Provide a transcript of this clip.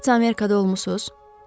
Nə vaxtsa Amerikada olmusunuz?